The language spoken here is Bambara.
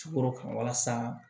Sukoro ka walasa